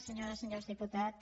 senyores i senyors diputats